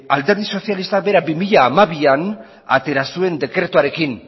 alderdi sozialistak berak bi mila hamabian atera zuen dekretuarekin